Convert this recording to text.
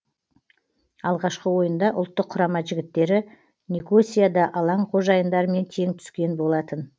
алғашқы ойында ұлттық құрама жігіттері никосияда алаң қожайындарымен тең түскен болатын